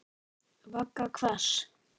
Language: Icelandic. Vagga hvers?